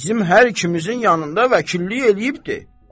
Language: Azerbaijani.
Bizim hər ikimizin yanında vəkillik eləyibdir.